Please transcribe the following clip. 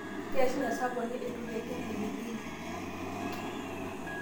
Keishunye saboni eitukeki mpilipili